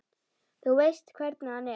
Þú veist hvernig hann er.